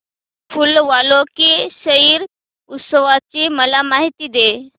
फूल वालों की सैर उत्सवाची मला माहिती दे